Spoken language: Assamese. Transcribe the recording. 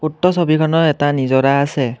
উক্ত ছবিখনত এটা নিজৰা আছে।